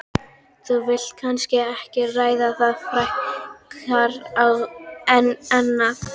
Þú vilt kannski ekki ræða það frekar en annað?